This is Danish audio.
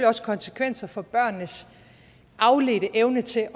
også konsekvenser for børnenes afledte evne til